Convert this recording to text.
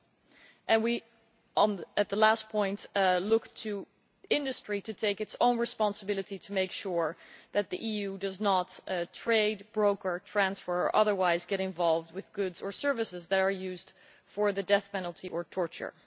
Finally, we look to industry to take its own responsibility to make sure that the EU does not trade, broker, transfer or otherwise get involved with goods or services that are used for the death penalty or torture.